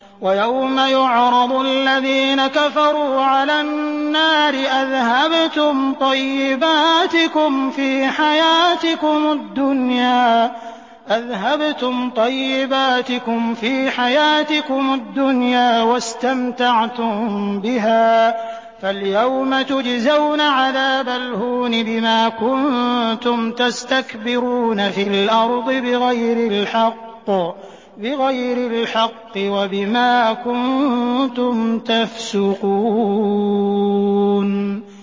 وَيَوْمَ يُعْرَضُ الَّذِينَ كَفَرُوا عَلَى النَّارِ أَذْهَبْتُمْ طَيِّبَاتِكُمْ فِي حَيَاتِكُمُ الدُّنْيَا وَاسْتَمْتَعْتُم بِهَا فَالْيَوْمَ تُجْزَوْنَ عَذَابَ الْهُونِ بِمَا كُنتُمْ تَسْتَكْبِرُونَ فِي الْأَرْضِ بِغَيْرِ الْحَقِّ وَبِمَا كُنتُمْ تَفْسُقُونَ